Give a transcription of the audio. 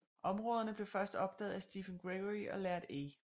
Områderne blev først opdaget af Stephen Gregory og Laird A